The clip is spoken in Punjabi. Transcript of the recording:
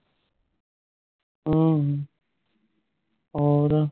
ਅਹ ਔਰ